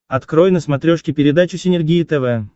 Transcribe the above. открой на смотрешке передачу синергия тв